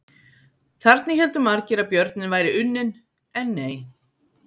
Þarna héldu margir að björninn væri unnin, en nei!